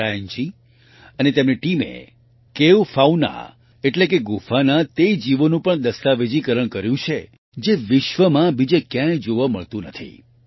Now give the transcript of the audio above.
Brian ji અને તેમની ટીમે કેવ ફાઉના એટલે કે ગુફાના તે જીવોનું પણ દસ્તાવેજીકરણ કર્યું છે જે વિશ્વમાં બીજે ક્યાંય જોવા મળતા નથી